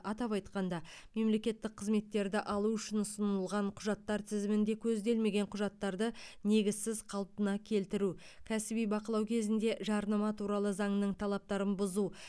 атап айтқанда мемлекеттік қызметтерді алу үшін ұсынылған құжаттар тізімінде көзделмеген құжаттарды негізсіз қалпына келтіру кәсіби бақылау кезінде жарнама туралы заңының талаптарын бұзу